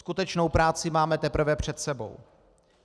Skutečnou práci máme teprve před sebou.